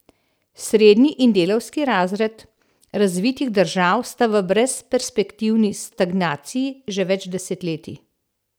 Srednji in delavski razred razvitih držav sta v brezperspektivni stagnaciji že več desetletij.